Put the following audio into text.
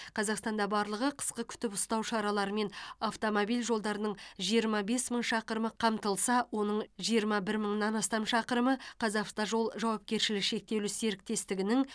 қазақстанда барлығы қысқы күтіп ұстау шараларымен автомобиль жолдарының жиырма бес мың шақырымы қамтылса оның жиырма бір мыңнан астам шақырымы қазавтожол жауапкершілігі шектеулі серіктестігінің